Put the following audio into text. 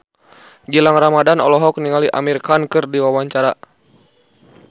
Gilang Ramadan olohok ningali Amir Khan keur diwawancara